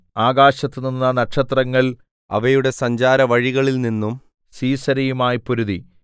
ആകാശത്തുനിന്ന് നക്ഷത്രങ്ങൾ അവയുടെ സഞ്ചാര വഴികളിൽ നിന്നും സീസെരയുമായി പൊരുതി